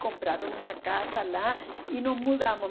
Compraram uma casa lá e nos mudamos.